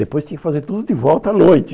Depois tinha que fazer tudo de volta à noite.